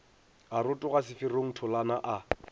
a rotoga seferong tholana a